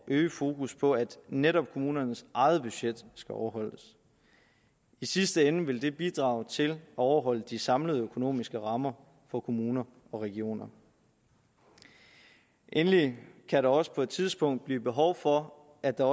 at øge fokus på at netop kommunernes eget budget skal overholdes i sidste ende vil det bidrage til at overholde de samlede økonomiske rammer for kommuner og regioner endelig kan der også på et tidspunkt blive behov for at der